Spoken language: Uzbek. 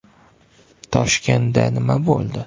“Toshkentda nima bo‘ldi?